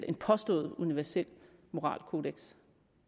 en påstået universel moralkodeks